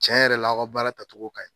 Cɛn yɛrɛ la aw ka baara tatogo kaɲi